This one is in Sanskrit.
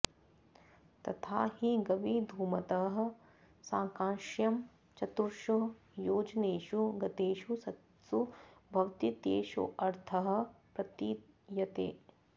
तथा हि गवीधुमतः सांकाश्यं चतुर्षु योजनेषु गतेषु सत्सु भवतीत्येषोऽर्थः प्रतीयते